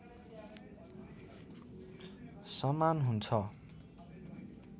समान हुन्छ